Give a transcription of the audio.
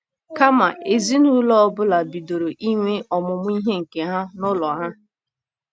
Kama, ezinụlọ ọ bụla bidoro inwe ọmụmụ ihe nke ha n’ụlọ ha.